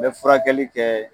N be furakɛli kɛ